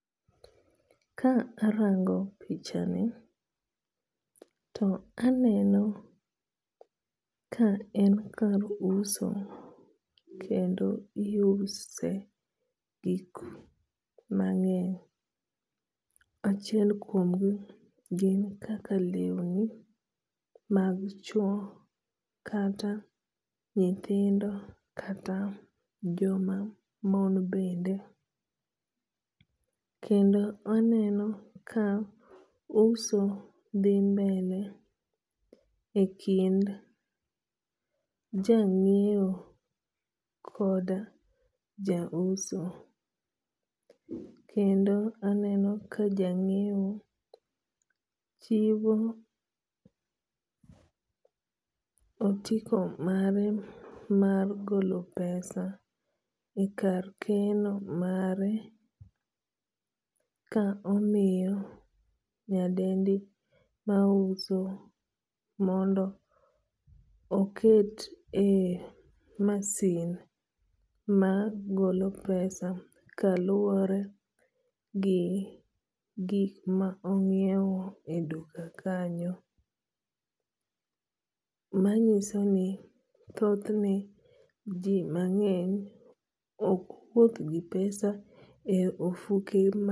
Ka arango pichani to aneno ka en kar uso kendo iuse gik mang'eny. Achiel kuom gi gin kaka lewni mag chuo kata nyithindo kata joma mon bende. Kendo aneno ka uso dhi mbele e kind ja ng'iew kod ja uso. Kendo aneno ka jang'iew chiwo otiko mare mar golo pesa e kar keno mare ka omiyo nyadendi ma uso mondo oket e masin ma golo pesa kaluwore gi gik ma ong'iew e duka kanyo. Manyiso ni thoth ne ji mang'eny ok wuoth gi pesa e ofuke.